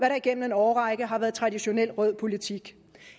der igennem en årrække har været traditionel rød politik